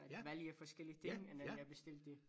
At vælge forskellige ting end jeg bestilte